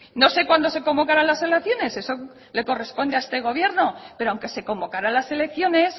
no sé cuando se convocaran las elecciones eso le corresponde a este gobierno pero aunque se convocaran las elecciones